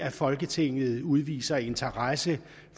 at folketinget udviser interesse